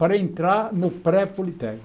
Para entrar no